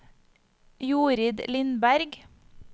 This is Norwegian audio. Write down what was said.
Jorid Lindberg